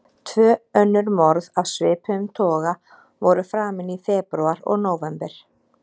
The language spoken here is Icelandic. Tvö önnur morð af svipuðum toga voru framin í febrúar og nóvember.